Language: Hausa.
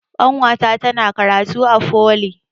Ƙanwata tana karatu a foli